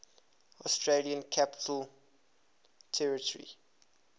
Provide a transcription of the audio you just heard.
australian capital territory